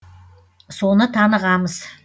соны танығамыз